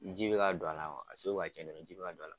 N ji bɛ ka don a la a sugu bɛ ka ciɲɛ dɔrɔn ji bɛ ka don a la.